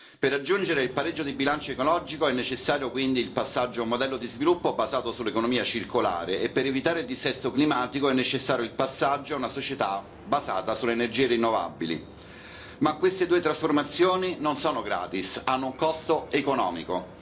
Per raggiungere il pareggio di bilancio ecologico è necessario, quindi, il passaggio a un modello di sviluppo basato sull'economia circolare e, per evitare il dissesto climatico, è necessario il passaggio a una società basata sulle energie rinnovabili. Ma queste due trasformazioni non sono gratis, hanno un costo economico.